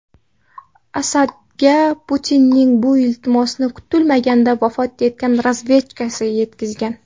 Asadga Putinning bu iltimosini kutilmaganda vafot etgan razvedkachi yetkazgan.